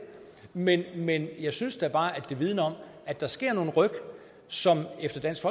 men men jeg synes bare at det vidner om at der sker nogle ryk som efter dansk